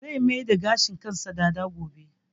Zai mai da gashin kansa dada gobe